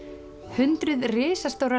hundruð risastórra